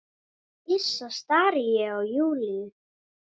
Hissa stari ég á Júlíu.